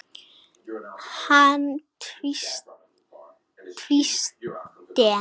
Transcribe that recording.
Hann tvísté.